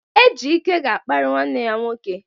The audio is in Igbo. Ejike ga-akparị nwanne ya nwoke.